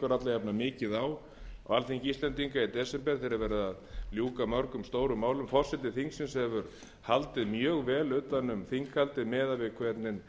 jafnan mikið á á alþingi íslendinga í desember þegar var verið að ljúka mörgum stórum málum forseti þingsins hefur haldið mjög vel utan um þinghaldið miðað við hvernig